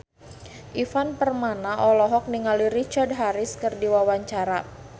Ivan Permana olohok ningali Richard Harris keur diwawancara